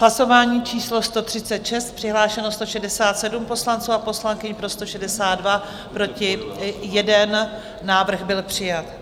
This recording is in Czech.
Hlasování číslo 136, přihlášeno 167 poslanců a poslankyň, pro 162, proti 1, návrh byl přijat.